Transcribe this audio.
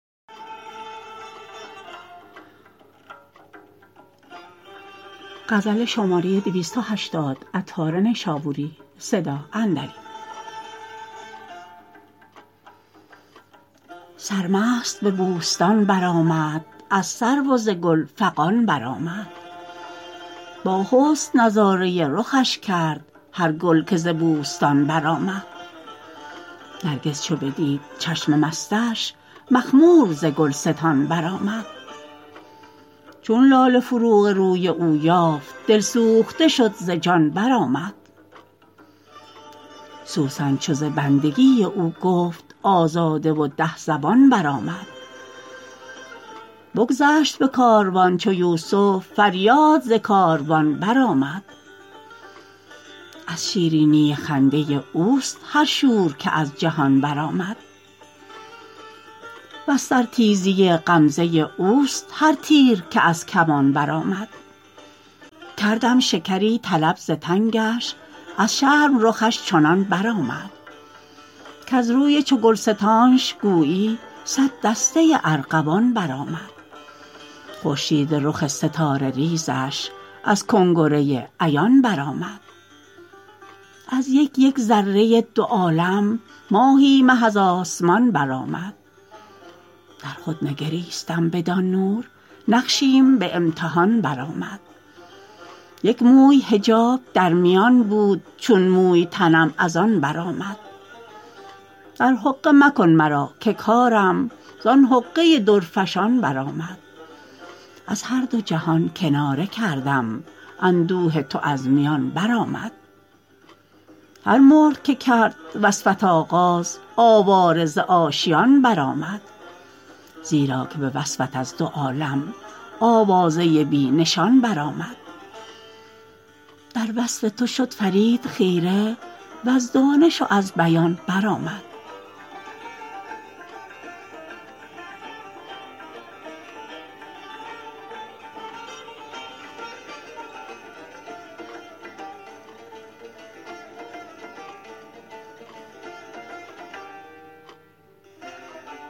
سرمست به بوستان برآمد از سرو و ز گل فغان برآمد با حسن نظاره رخش کرد هر گل که ز بوستان برآمد نرگس چو بدید چشم مستش مخمور ز گلستان برآمد چون لاله فروغ روی او یافت دلسوخته شد ز جان برآمد سوسن چو ز بندگی او گفت آزاده و ده زبان برآمد بگذشت به کاروان چو یوسف فریاد ز کاروان برآمد از شیرینی خنده اوست هر شور که از جهان برآمد وز سر تیزی غمزه اوست هر تیر که از کمان برآمد کردم شکری طلب ز تنگش از شرم رخش چنان برآمد کز روی چو گلستانش گویی صد دسته ارغوان برآمد خورشید رخ ستاره ریزش از کنگره عیان برآمد از یک یک ذره دو عالم ماهی مه از آسمان برآمد در خود نگریستم بدان نور نقشیم به امتحان برآمد یک موی حجاب در میان بود چون موی تنم از آن برآمد در حقه مکن مرا که کارم زان حقه درفشان برآمد از هر دو جهان کناره کردم اندوه تو از میان برآمد هر مرغ که کرد وصفت آغاز آواره ز آشیان برآمد زیرا که به وصفت از دو عالم آوازه بی نشان برآمد در وصف تو شد فرید خیره وز دانش و از بیان برآمد